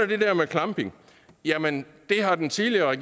det der med klampning jamen det har den tidligere